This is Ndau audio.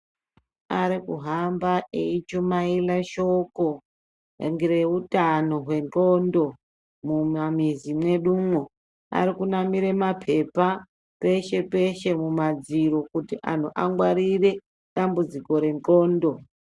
Ari kuhamba eyishumaira shoko ngeutano hwenxondo mumamizi mwedumo, ari kunamira mapepa peshe-peshe kumadziro kuti anhu angwarire dambudziko renxondo.